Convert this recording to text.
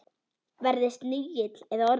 Verði snigill eða ormur.